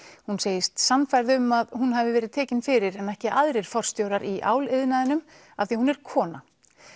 hún segist sannfærð um að hún hafi verið tekin fyrir en ekki aðrir forstjórar í áliðnaðinum af því hún er kona